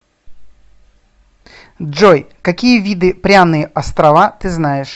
джой какие виды пряные острова ты знаешь